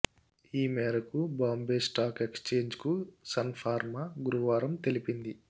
ఈ మేరకు బాంబే స్టాక్ ఎక్స్చేంజ్కు సన్ ఫార్మా గురువారం తెలిపింది